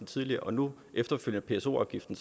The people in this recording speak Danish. tidligere og nu efterfølgende pso afgiften